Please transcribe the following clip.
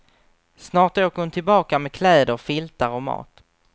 Snart åker hon tillbaka med kläder, filtar och mat.